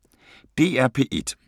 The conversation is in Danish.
DR P1